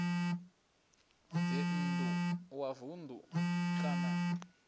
dzinn ḓu wa vunḓu kana